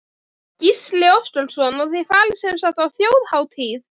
Gísli Óskarsson: Og þið farið sem sagt á Þjóðhátíð?